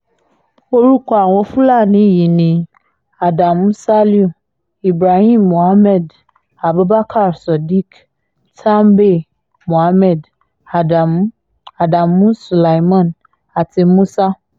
orúkọ àwọn fúlàní yìí ni adamu saliu ibrahim muhammed abubakar sadiq tambay muhammed adamu adamu sulaiman àti musa